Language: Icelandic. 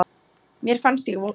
Mér fannst ég svo vond.